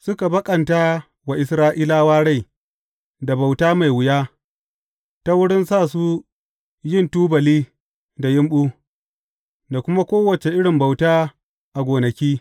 Suka baƙanta wa Isra’ilawa rai da bauta mai wuya, ta wurin sa su yin tubali da yumɓu, da kuma kowace irin bauta a gonaki.